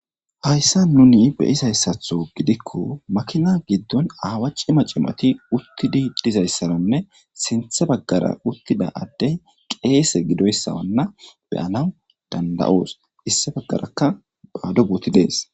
Hayssa nuni beyizayssatho gidikko makina giddon aawachi macimati uttidi dizayssaranne sinthe baggara uttida addey qeese gidoyssawanna beyanaw danda7oos issi baggaraka phaado booti dees.